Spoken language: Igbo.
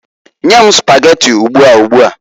Nye m Spageti ugbua ugbuaǃ